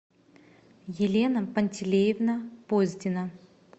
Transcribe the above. елена пантелеевна поздина